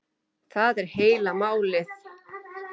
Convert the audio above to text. Það er heila málið.